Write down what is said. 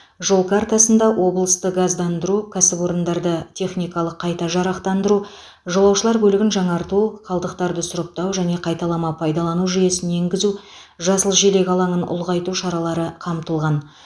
жол картасында облысты газдандыру кәсіпорындарды техникалық қайта жарақтандыру жолаушылар көлігін жаңарту қалдықтарды сұрыптау және қайталама пайдалану жүйесін енгізу жасыл желек алаңын ұлғайту шаралары қамтылған